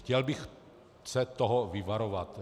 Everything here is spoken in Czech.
Chtěl bych se toho vyvarovat.